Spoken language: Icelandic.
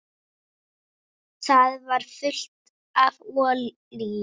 Það var fullt af olíu.